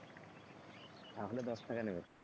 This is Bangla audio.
তাহলে দশ টাকা নেবে?